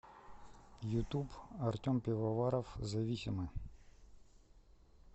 ютуб артем пивоваров зависимы